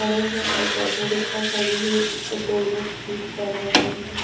खड़े हैं एक ऑटो रिक्शा खड़ी है इसको दो लोग ठीक कर रहे हैं।